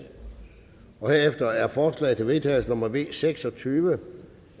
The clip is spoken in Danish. herefter er forslag til vedtagelse nummer v seks og tyve